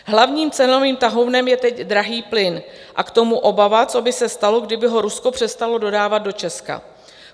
Hlavním cenovým tahounem je teď drahý plyn a k tomu obava, co by se stalo, kdyby ho Rusko přestalo dodávat do Česka.